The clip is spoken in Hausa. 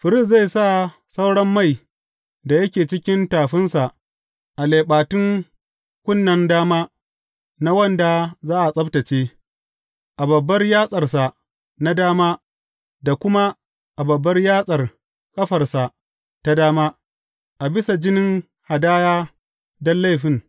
Firist zai sa sauran mai da yake cikin tafinsa a leɓatun kunnen dama na wanda za a tsabtacce, a babbar yatsarsa na dama da kuma a babbar yatsar ƙafarsa ta dama, a bisa jinin hadaya don laifin.